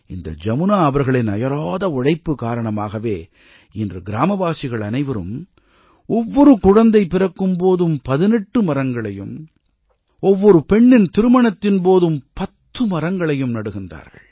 இந்த ஜமுனா அவர்களின் அயராத உழைப்பு காரணமாகவே இன்று கிராமவாசிகள் அனைவரும் ஒவ்வொரு குழந்தை பிறக்கும் போதும் 18 மரங்களையும் ஒவ்வொரு பெண்ணின் திருமணத்தின் போதும் 10 மரங்களையும் நடுகிறார்கள்